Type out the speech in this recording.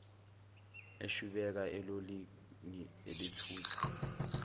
eshwibeka elolini elithutha